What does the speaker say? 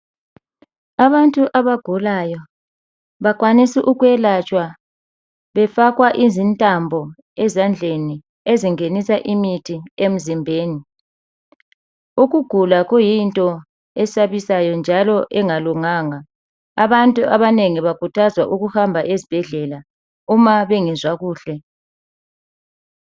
Abantu abagulayo bakwanisa ukwelatshwa befakwa intambo ezandleni ezingenisa imuthi emzimbeni. Ukugula kuyinto esabisayo njalo engalunganga. Abantu bakhuthazwa ukuhamba esibhedlela uma bengezwa kuhle.